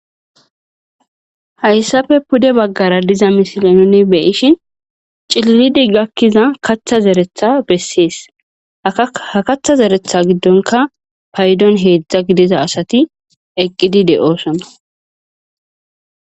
hayssafe pude baggara diza mishile nuni beyishin cillidi gakkiza katha zeretha bessees ha katha zeretha giddonka paydon heedzdza gidiza asati eqqidi de7oosona